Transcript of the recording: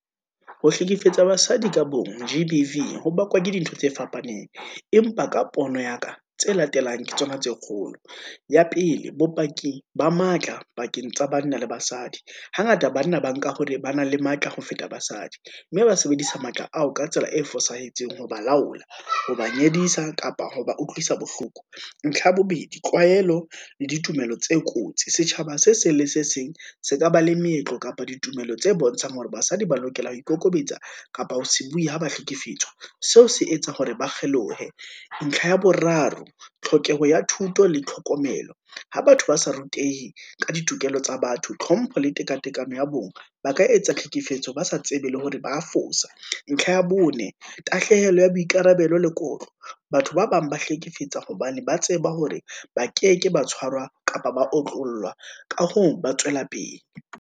Ho hlekefetsa basadi ka bong, G_B_V ho bakwa ke dintho tse fapaneng, empa ka pono ya ka tse latelang ke tsona tse kgolo. Ya pele, bopaki ba matla pakeng tsa banna le basadi, hangata banna ba nka hore ba na le matla ho feta basadi, mme ba sebedisa matla ao ka tsela e fosahetseng ho ba laola, ha ba nyedisa, kapa ho ba utlwisa bohloko. Ntlha ya bobedi, tlwaelo le ditumelo tse kotsi, setjhaba se seng le se seng se ka ba le meetlo kapa ditumelo tse bontshang hore basadi ba lokela ho ikokobetsa, kapa ho se bue ha ba hlekefetswa, seo se etsa hore ba kgelohe. Ntlha ya boraro, tlhokeho ya thuto le tlhokomelo, ha batho ba sa rutehe ka ditokelo tsa batho, tlhompho le tekatekano ya bong, ba ka etsa tlhekefetso, ba sa tsebe le hore hore ba fosa. ntlha ya bone, tahlehelo ya boikarabelo lekotlo, batho ba bang ba hlekefetsa hobane ba tseba hore, ba keke ba tshwarwa kapa ba otlolla, ka hoo, ba tswela pele.